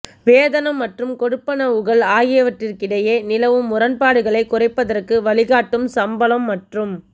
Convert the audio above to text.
வேதனம் மற்றும் கொடுப்பனவுகள் ஆகியவற்றிற்கிடையே நிலவும் முரண்பாடுகளை குறைப்பதற்கு வழிகாட்டும் சம்பளம் மற்றும்